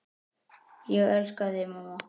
Ég elska þig, mamma.